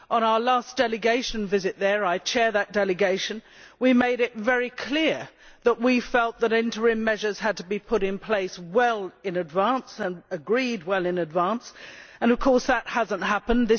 On our last delegation visit there I chair that delegation we made it very clear that we felt that interim measures had to be put in place well in advance and agreed well in advance, and of course that has not happened.